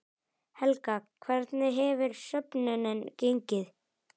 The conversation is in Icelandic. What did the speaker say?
Helga, hvernig hefur söfnunin gengið?